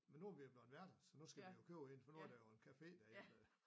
Men nu er vi jo blevet værter så nu skal vi jo købe en for nu er der jo en café derinde så